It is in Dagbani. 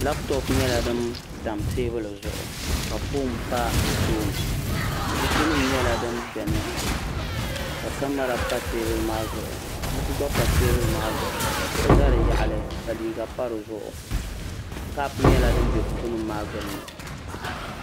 labtop nyɛla din tam teebuli zuɣu ka foon pa di tooni buku nim nyɛla din biɛni ka kamɛra pa teebuli maa zuɣu buku gba pa teebuli maa zuɣu kuɣu ʒɛ di yaɣali ka liiga pa dizuɣu kaap nyɛla din bɛ teebuli maa gbunni